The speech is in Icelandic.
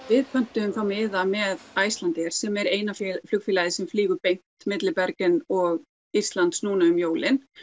við pöntum þá miða með Icelandair sem er eina flugfélagið sem flýgur beint milli Bergen og Íslands núna um jólin